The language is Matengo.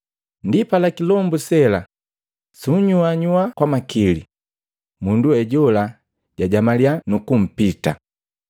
Ndipala kilombu se sela sunyuanyua kwa makili, mundu we jola jajamalya, nukumpita.